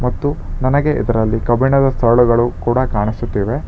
ಮತ್ತು ನನಗೆ ಇದರಲ್ಲಿ ಕಬ್ಬಿಣದ ಸರಳುಗಳು ಕೂಡ ಕಾಣಿಸುತ್ತಿವೆ.